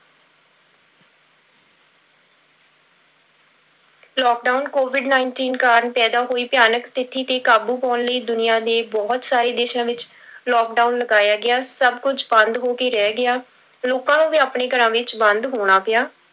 Lockdown covid nineteen ਕਾਰਨ ਪੈਦਾ ਹੋਈ ਭਿਆਨਕ ਸਥਿੱਤੀ ਤੇ ਕਾਬੂ ਪਾਉਣ ਲਈ ਦੁਨੀਆ ਦੇ ਬਹੁਤ ਸਾਰੇ ਦੇਸਾਂ ਵਿੱਚ lockdown ਲਗਾਇਆ ਗਿਆ, ਸਭ ਕੁੱਝ ਬੰਦ ਹੋ ਕੇ ਰਹਿ ਗਿਆ, ਲੋਕਾਂ ਨੂੰ ਵੀ ਆਪਣੇ ਘਰਾਂ ਵਿੱਚ ਬੰਦ ਹੋਣਾ ਪਿਆ।